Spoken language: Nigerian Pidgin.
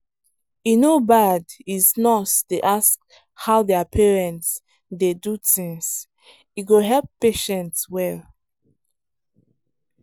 e no bad is nurse dey ask how their parents de do things e go help patient well